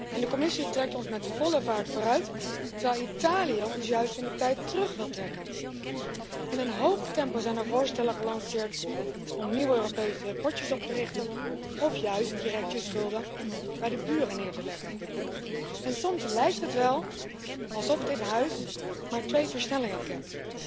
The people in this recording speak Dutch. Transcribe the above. En de Commissie trekt ons met volle vaart vooruit, terwijl Italië ons juist in de tijd terug wil trekken. In een hoog tempo zijn er voorstellen gelanceerd om nieuwe Europese potjes op te richten, of juist direct je schulden bij de buren neer te leggen. En soms lijkt het wel alsof dit Huis maar twee versnellingen kent